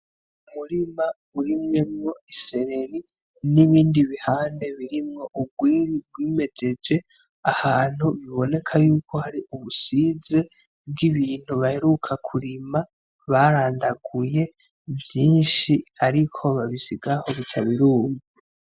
Umurima urimyemwo isereri nibindi bihande birimwo urwiri rwimejeje ahantu biboneka yuko hari ubusize bw'ibintu baheruka kurima barandaguye vyinshi ariko babisiga aho bikaba biruma.